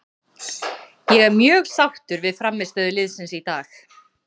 Ég er mjög sáttur við frammistöðu liðsins í dag.